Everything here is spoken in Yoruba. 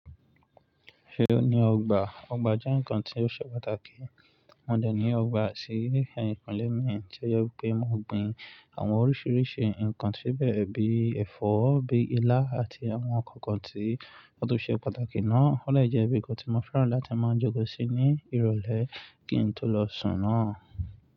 Ṣé o ní ọgbà? Ọgbà jẹ́ nǹkan tí ó ṣe pàtàkì. Mo dẹ̀ ní ọgbà sí ẹ̀yìnkúnle mi tí ó jẹ pé mo gbìn àwọn oríṣiiríṣii nǹkan síbẹ̀ bíi ẹ̀fọ́, bíi ilá àti àwọn nǹkan kan tí ó tún ṣe pàtàkì náà. Ó lè jẹ́ ibi tí mo fẹ́ràn láti máa joko sí ní ìrólé kí n tó lọ sùn náà.